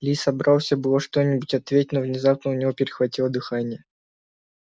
ли собрался было что-нибудь ответить но внезапно у него перехватило дыхание